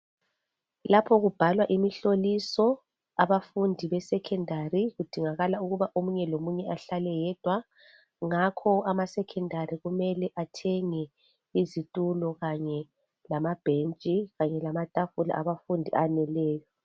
Lapho kubhalwa imihloliso abafundi be secondary kudingakala ukuba omunye lo munye ahlale yedwa ngakho ama secondary kumele athenge izitulo kanye lamabhentshi kanye lamatafula abafundi aneleyo.